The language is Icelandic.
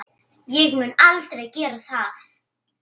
Ég mun aldrei gera það.